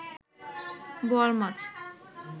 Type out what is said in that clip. বোয়াল মাছ